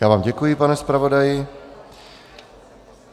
Já vám děkuji, pane zpravodaji.